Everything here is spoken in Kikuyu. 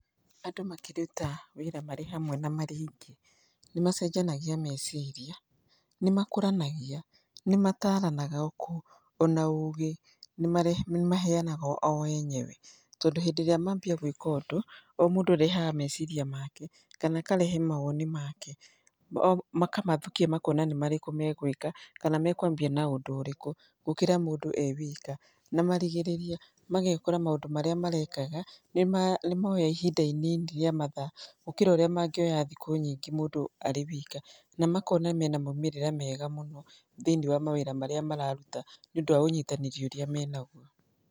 Andũ makĩruta wĩra marĩ hamwe na marĩ aingĩ nĩ macenjanagia meciria, nĩmakũranagia, nĩmataranaga ona ũgĩ nĩmaheanaga o enyewe tondũ hĩndĩ ĩrĩa maambia gwĩka ũndũ, o mũndũ arehaga meciria make kana akarehe mawoni make. Makamathukia makona nĩ marĩkũ megwĩka kana mekwambia na ũndũ ũrĩkũ gũkĩra mũndũ e wika. Na marigĩrĩria magekora maũndũ marĩa marekaga nĩ moya ihinda inini rĩa mathaa gũkĩra ũrĩa mangĩoya thikũ nyingĩ mũndũ arĩ wika, na makona mena maumĩrĩra mega mũno thĩini wa mawĩra marĩa mararuta nĩ ũndũ wa ũnyitanĩri ũrĩa menaguo.